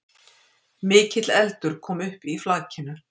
Mikil eldur kom upp í flakinu